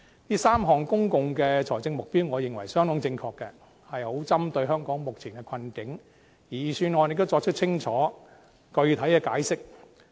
這3項公共財政目標，我認為相當正確，正好針對香港目前的困境，而預算案也作出清楚、具體的解釋。